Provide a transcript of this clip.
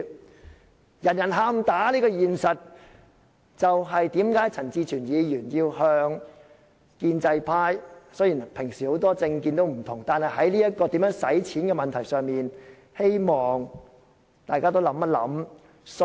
面對人人"喊打"的現實，陳志全議員向建制派提出，雖然各議員平時抱持很多不同的政見，但在如何使用儲備的問題上，希望大家一起爭取。